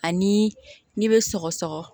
Ani n'i bɛ sɔgɔ sɔgɔ